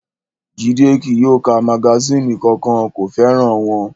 Jídé kí yóò ka magasínì kankan, kò fẹ́ràn wọn